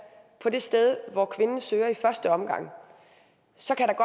på det sted hvor kvinden søger i første omgang så kan der